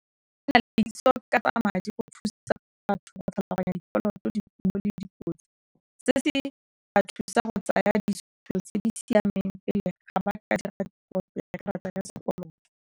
Ke na le thekiso ka tsaya madi go thusa batho go tlhaloganya dikoloto di mo le dipotso, se se ba thusa go tsaya digital tse di siameng pele ga ba ka dira kopo ya karata ya sekoloto.